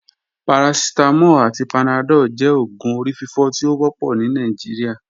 Paracetamol ati panadol jẹ oògùn orififo ti o wọpọ ni Nigeria.